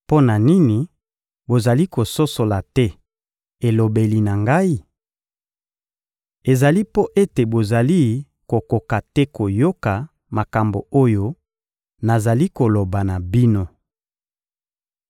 Mpo na nini bozali kososola te elobeli na Ngai? Ezali mpo ete bozali kokoka te koyoka makambo oyo nazali koloba na bino.